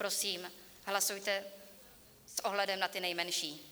Prosím, hlasujte s ohledem na ty nejmenší.